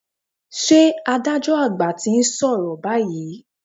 Ṣé adájọ́ àgbà ti ń sọ̀rọ̀ báyìí?